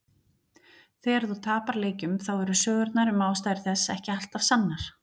Þegar þú tapar leikjum þá eru sögurnar um ástæður þess ekki alltaf sannar.